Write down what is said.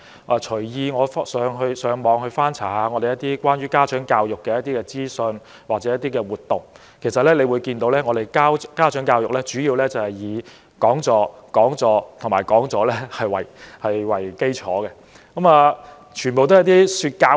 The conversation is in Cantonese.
我隨意在互聯網上翻查一些關於香港家長教育的資訊或活動，其實可以看到，香港的家長教育主要以講座、講座及講座為基礎，全部都是說教式。